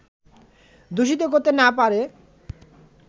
দূষিত করতে না পারে